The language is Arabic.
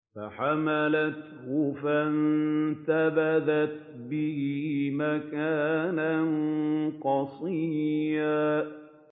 ۞ فَحَمَلَتْهُ فَانتَبَذَتْ بِهِ مَكَانًا قَصِيًّا